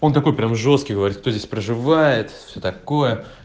он такой прям жёсткий говорит кто здесь проживает всё такое